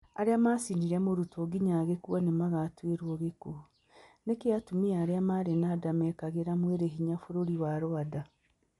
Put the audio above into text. Arĩa maacinire mũrutwo nginya agĩkuan nĩ magatuĩrũo gĩkuũ. Nĩkĩ atumia arĩa marĩ na nda mekĩraga mwĩrĩ hinya Bũrũri wa Rwanda?